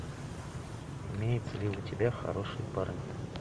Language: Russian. имеется ли у тебя хорошие парни